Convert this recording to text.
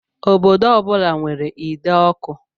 Obodo ọ bula nwèrè ide ọkụ.